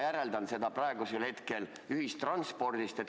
Ma järeldan seda praegusel hetkel ühistranspordist.